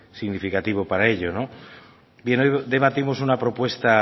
significativo para ello bien hoy debatimos una propuesta